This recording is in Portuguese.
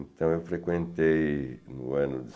Então eu frequentei, no ano de